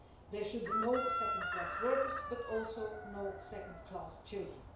There should be no second class workers, but also no second class children.